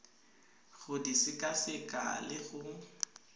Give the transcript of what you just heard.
go di sekaseka le go